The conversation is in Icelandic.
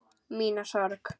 Mína sorg.